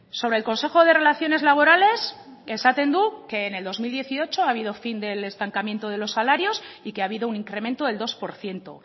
sobre el consejo de relaciones laborales esaten du que en el dos mil dieciocho ha habido fin del estancamiento de los salarios y que ha habido un incremento del dos por ciento